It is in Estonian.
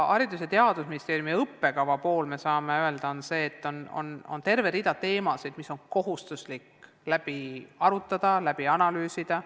Haridus- ja Teadusministeeriumi õppekava puhul me saame öelda, et on terve hulk teemasid, mida on kohustuslik läbi arutada ja analüüsida.